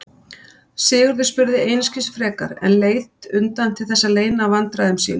Sigurður spurði einskis frekar en leit undan til þess að leyna vandræðum sínum.